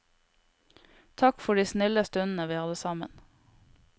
Takk for de snille stundene vi hadde sammen.